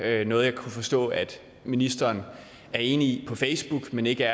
er noget jeg kan forstå ministeren er enig i på facebook men ikke